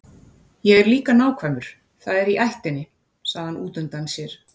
Ég er líka nákvæmur, það er í ættinni, sagði hann útundann sér.